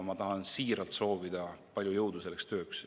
Ma tahan siiralt soovida palju jõudu selleks tööks.